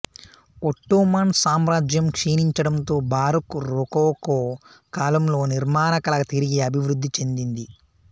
Ottoman సామ్రాజ్యం క్షీణించడంతో baroque rococo కాలంలో నిర్మాణకళ తిరిగి అభివృద్ధి చెందింది